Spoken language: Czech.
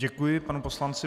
Děkuji panu poslanci.